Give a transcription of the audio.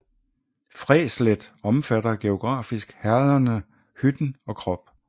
Fræslet omfatter geografisk herrederne Hytten og Krop